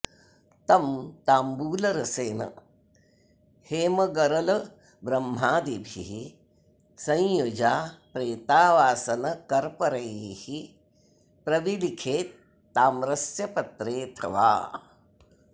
तं ताम्बूलरसेन हेमगरलब्रह्मादिभिः सञ्युजा प्रेतावासनकर्परैः प्रविलिखेत् ताम्रस्य पत्रेऽथवा